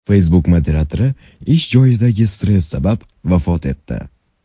Facebook moderatori ish joyidagi stress sabab vafot etdi.